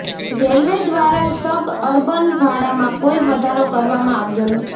railway દ્વારા suburban ભાડામાં કોઈ વધારો કરવામાં આવ્યો નથી